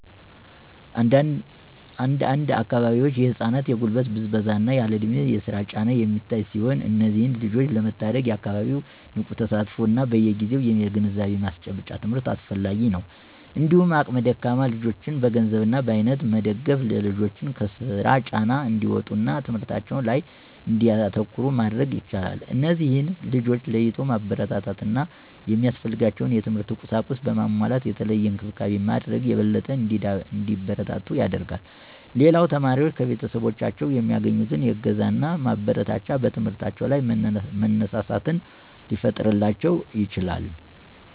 አንድ አንድ አካባቢዎች የህፃናት የጉልበት ብዝበዛ እና ያለእድሜ የስራ ጫና የሚታይ ሲሆን እነዚህን ልጆች ለመታደግ የአካባቢው ንቁ ተሳትፎ እና በየግዜው የግንዛቤ ማስጨበጫ ትምህርት አስፈላጊ ነው። እንዲሁም አቅመ ደካማ ወላጆችን በገንዘብ እና በአይነት በመደገፍ ልጆችን ከስራ ጫና እንዲወጡ እና ትምህርታቸው ላይ እንዲያተኩሩ ማድረግ ይቻላል። እነዚህን ልጆች ለይቶ ማበረታታት እና ሚያስፈልጋቸውን የትምህርት ቁሳቁስ በማሟላት የተለየ እንክብካቤ ማድረግ የበለጠ እንዲበረቱ ያደርጋል። ሌላው ተማሪዎች ከቤተሰቦቻቸው የሚያገኙት እገዛና ማበረታቻ በትምህርታቸው ላይ መነሳሳትን ሊፈጥርላቸው ይችላል።